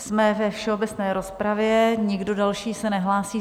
Jsme ve všeobecné rozpravě, nikdo další se nehlásí.